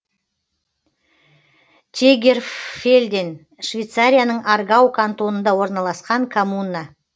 тегерфельден швейцарияның аргау кантонында орналасқан коммуна